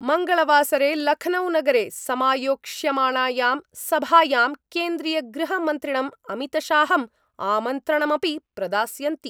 मंगलवासरे लखनऊ नगरे समायोक्ष्यमाणायां सभायां केन्द्रीयगृहमन्त्रिणं अमितशाहं आमन्त्रणमपि प्रदास्यन्ति।